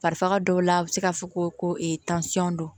Bari faga dɔw la a bɛ se ka fɔ ko tansɔn don